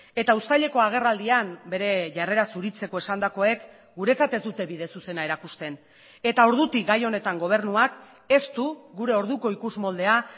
eta uztaileko agerraldian bere jarrera zuritzeko esandakoek guretzat ez dute bide zuzena erakusten eta ordutik gai honetan gobernuak ez du gure orduko ikusmoldea